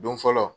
Don fɔlɔ